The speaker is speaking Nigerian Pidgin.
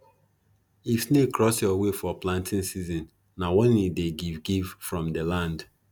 if snake cross your way for planting season na warning e dey give give from di land